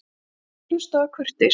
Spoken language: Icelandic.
Sú stutta hlustaði af kurteisi.